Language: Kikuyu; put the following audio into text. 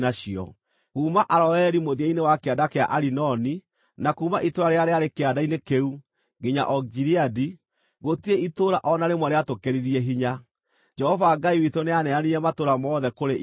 Kuuma Aroeri mũthia-inĩ wa kĩanda kĩa Arinoni, na kuuma itũũra rĩrĩa rĩarĩ kĩanda-inĩ kĩu, nginya o Gileadi, gũtirĩ itũũra o na rĩmwe rĩatũkĩririe hinya. Jehova Ngai witũ nĩaneanire matũũra mothe kũrĩ ithuĩ.